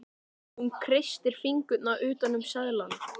Hún kreistir fingurna utan um seðlana.